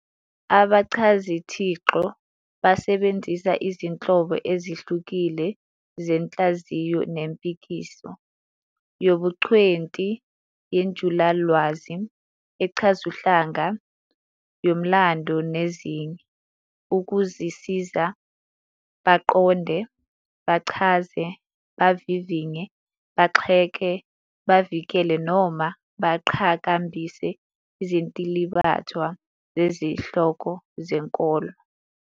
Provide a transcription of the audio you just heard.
Abachazithixo basebenzisa izinhlobo ezihlukile zenhlaziyo nempikiso, yobungcweti, yenjulalwazi, echazuhlanga, yomlando, nezinye, ukuzisiza baqonde, bachaze, bavivinye, bagxeke, bavikele noma baqhakambise izintilibathwa zezihloko zenkolo.